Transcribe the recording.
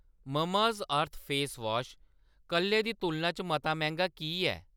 Mamaearth face wash कल्लै दी तुलना च मता मैंह्‌‌गा की ऐ?